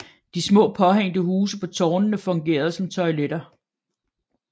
De små påhængte huse på tårnene fungerede som toiletter